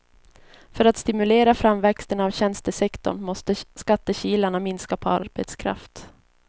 För att stimulera framväxten av tjänstesektorn måste skattekilarna minska på arbetskraft.